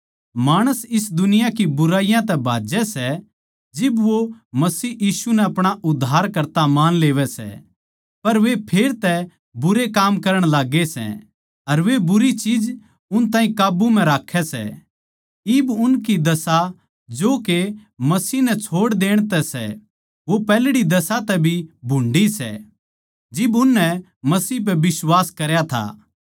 माणस इस दुनिया की बुराइयाँ तै भाज्जै सै जिब वो मसीह यीशु नै अपणा उद्धारकर्ता मान लेवै सै पर वे फेर तै बुरे काम करण लाग्गै सै अर वे बुरी चीज उन ताहीं काब्बू म्ह राक्खै सै इब उनकी दशा जो के मसीह नै छोड़ देण तै सै वो पैहल्ड़ी दशा तै भी भुंडी सै जिब उननै मसीह पै बिश्वास करया था